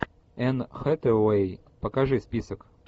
энн хэтэуэй покажи список